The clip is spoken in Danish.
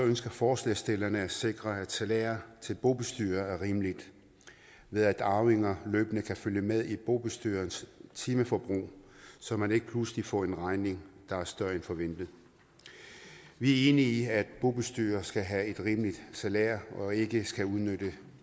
ønsker forslagsstillerne at sikre at salæret til bobestyrere er rimeligt ved at arvinger løbende kan følge med i bobestyrerens timeforbrug så man ikke pludselig får en regning der er større end forventet vi er enige i at bobestyrere skal have et rimeligt salær og ikke skal udnytte